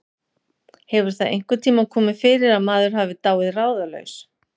hefur það einhvern tíma komið fyrir að maður hafi dáið ráðalaus